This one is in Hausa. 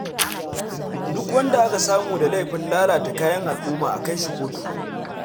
Duk wanda aka samu da laifin lalata kayan al'umma a kai shi kotu.